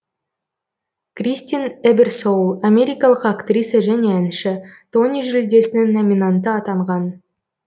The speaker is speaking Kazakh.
кристин эберсоул америкалық актриса және әнші тони жүлдесінің номинанты атанған